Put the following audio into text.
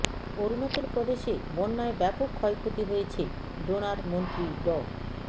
অরুনাচল প্রদেশে বন্যায় ব্যাপক ক্ষয়ক্ষতি হয়েছে ডোনার মন্ত্রী ড